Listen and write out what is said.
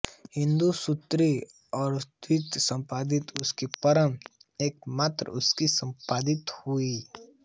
हिंदू स्त्री द्वारा धृत संपत्ति उसकी परम एक मात्र उसकी संपत्ति होगी